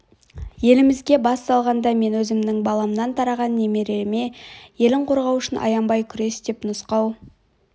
елімізге бас салғанда мен өзімнің баламнан тараған немереме елін қорғау үшін аянбай күрес деп нұсқау